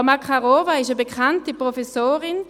Frau Makarova ist eine bekannte Professorin.